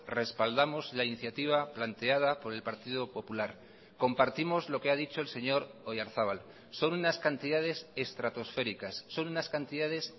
respaldamos la iniciativa planteada por el partido popular compartimos lo que ha dicho el señor oyarzabal son unas cantidades estratosféricas son unas cantidades